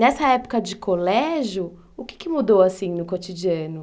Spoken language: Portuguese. Nessa época de colégio, o que mudou assim no cotidiano?